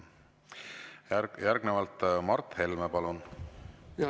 Järgnevalt Mart Helme, palun!